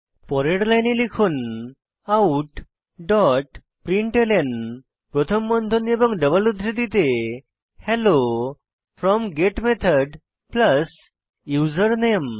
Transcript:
পরের লাইনে লিখুন আউট ডট প্রিন্টলন প্রথম বন্ধনী এবং ডাবল উদ্ধৃতিতে hello from get method username